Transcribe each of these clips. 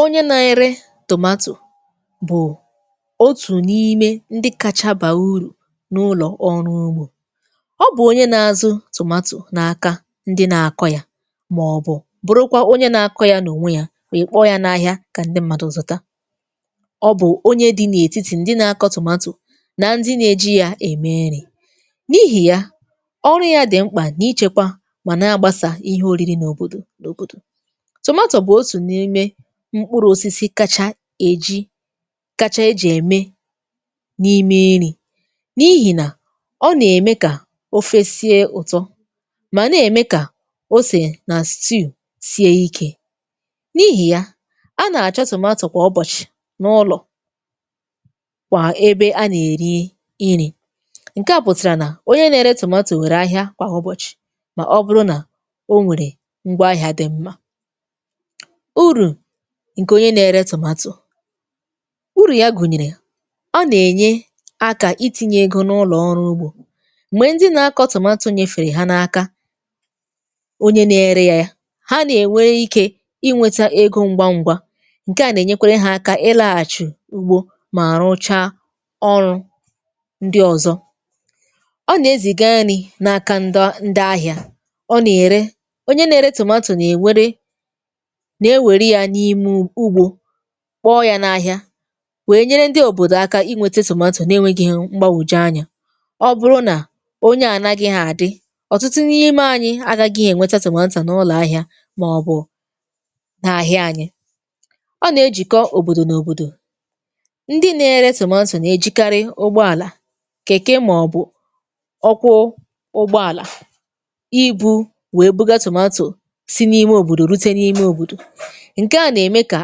Onye nà-ere tomato bụ̀ otù n’ime ndị kacha bà ùrụ n’ụlọ̀ ọrụ ụgbo. Ọ bụ̀ onye nȧ-azù tomato n’aka ndị na-akọ̇ yà, màọbụ̀ bụrụ kwa onye na-akọ̇ yȧ n’ònwe yȧ, ị kpọọ yȧ n’ahịa kà ndị mmadụ̀ zùta. Ọ bụ̀ onye dị n’ètitì ndị na-akọ̇ tomato, nà ndị na-eji yȧ ème nrị. N’ịhị ya, ọrụ ya di mkpà n’ịchėkwa mà na-agbasa ihe òriri n’òbòdò n’òbòdò. Tomato bụ otú n'ime mkpụrụ̇ osisi kacha èji kacha eji̇ ème n’ime nrị, n’ịhị nà ọ nà-ème kà ofe sie ụ̀tọ, mà nà-ème kà osè nà stew sie ikė. N’ịhị ya, a nà-àchọ tòmatò kwà ụbọ̀chì n’ụlọ̀, kwà ebe a nà-èri ṅrì. Nke à pụ̀tàrà nà onye na-ere tòmatò wère ahịa kwà ụbọ̀chì, mà ọ bụrụ nà o nwèrè ngwa ahịa di mma. Urụ ǹkè onye na-ere tòmatò; urụ ya gùnyèrè ọ nà-ènye akȧ iti̇nyė ego n’ụlọ̀ ọrụ ụgbo, mgbe ndị na-akọ̇ tòmatò nyefèrè ha n’aka onye na-ere yȧ yà. Ha nà-ènwe ikė inwėtȧ egȯ ṅgwa ṅgwȧ, ǹke à nà-ènyekwere hȧ aka ịlȧghà chị̀ ụgbo mà rụchaa ọrụ ǹdị ọ̀zọ. Ọ nà-ezì ga nrị̇ n’aka ndọ ndị ahịȧ, ọ nà-ère onye na-ere tòmatò n'ewere nà-èwere yà n'ime ụgbo, kpọọ yȧ n’ahịa wee nyere ndị òbòdò aka inwėtė tòmato na enweghi mgbagwoju anyȧ. Ọ bụrụ nà onye ànaghị hȧ àdị, ọ̀tụtụ n’ime anyị agȧghị ènwetȧ tòmatò n’ụlọ̀ ahịȧ màọ̀bụ̀ n’àhịa anyị. Ọ nà-ejìkọ òbòdò n’òbòdò, ndị na-ere tòmato nà-ejìkarị ụgbọàlà, kèke, màọ̀bụ̀ ọkwụ ụgbọàlà, ịbụ wee buga tòmatò sị n’ịme òbòdò rute n’ịme òbòdò. Nke à nà-ème kà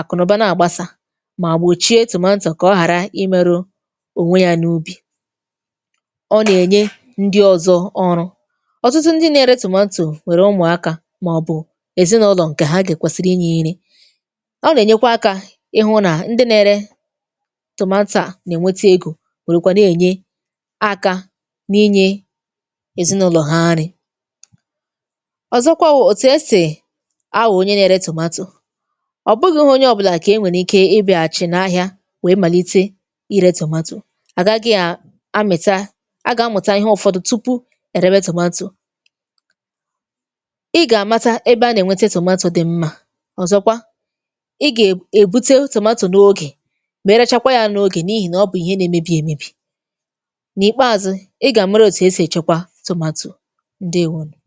àkụ̀nụ̀ba na àgbasà, mà gbòchie tomato kà ọ ghàra ịmėru ònwe ya n’ụbị. Ọ nà-ènye ndị ọ̀zọ ọrụ, ọtụtụ ndị na-ere tomato nwèrè ụmụ̀akȧ màọbụ̀ èzinụ̇lọ̀ ǹkè ha kwesịrị ịnye nrị. Ọ nà-ènyekwa akȧ ịhụ nà ndị na-ere tomato a, nà-ènweta egȯ wèrè kwà na-ènye aka n’ịnye èzinụ̇lọ̀ ha nrị. Ọzọkwa wụ̀ òtù esì awụ onye na-ere tomato; ọ bụghị̇ onye ọbụlà kà e nwèrè ike ịbịàghachị̀ n’ahịa wèe màlite ịrė tòmatò, àgaghị à amị̀ta agà amụ̀ta ihe ụ̀fọdụ tupu èrebe tòmatò. Ị gà-àmata ebe a nà-ènwete tòmatò dị̀ mmȧ, ọ̀zọkwa ị gà-èbute wụ tomato n’ogè, merachakwa ya n’ogè n’ịhị nà ọ bụ̀ ihe nà-emebi̇ èmebi̇. N’ịkpeazụ, ị gà-àmárà òtù esì èchekwa tomato. Ṅdeèwonụ̀.